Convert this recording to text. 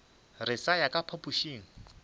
re sa ya ka phapošing